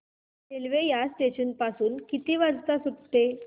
railway या station पासून किती वाजता सुटते